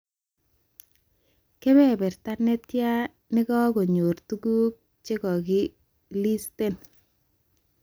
Kebeberta netia nekakonyor tukuk chekakilisten